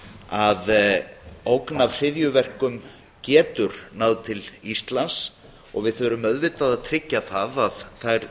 að ógn af hryðjuverkum getur náð til íslands og við þurfum auðvitað að tryggja það að þær